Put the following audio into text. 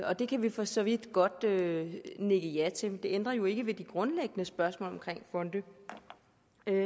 og det kan vi for så vidt godt nikke nikke ja til men det ændrer jo ikke ved de grundlæggende spørgsmål omkring fonde